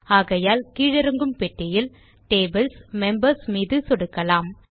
ஆகையால் கீழிறங்கும் பெட்டியில் Tables மெம்பர்ஸ் மீது சொடுக்கலாம்